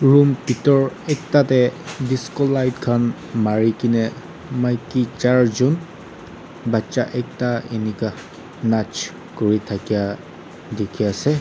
Room bethor ekta dae disco light khan marekena maiki charjun bacha ekta enika nach kure thakya dekhe ase.